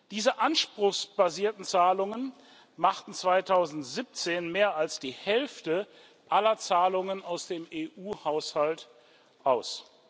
Diese anspruchsbasierten Zahlungen machten 2017 mehr als die Hälfte aller Zahlungen aus dem EU Haushalt aus.